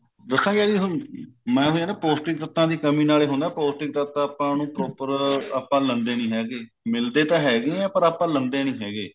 ਦੱਸਾ ਜੀ ਮੈਂ ਤੁਹਾਨੂੰ ਮੈਂ ਐਵੇਂ ਨਾ ਪੋਸਟਿਕ ਤੱਤਾ ਦੀ ਕਮੀ ਨਾਲ ਹੀ ਹੁੰਦਾ ਪੋਸਟਿਕ ਤੱਤ ਆਪਾਂ ਨੂੰ ਪੋਸਟਿਕ ਤੱਤ ਆਪਾਂ proper ਲੈਂਦੇ ਨਹੀਂ ਹੈਗੇ ਮਿਲਦੇ ਤਾਂ ਹੈਗੇ ਹੈ ਪਰ ਆਪਾਂ ਲੈਂਦੇ ਨਹੀਂ ਹੈਗੇ